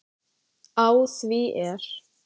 Á því er